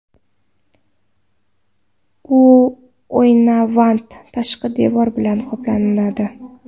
U oynavand tashqi devor bilan qoplanadi.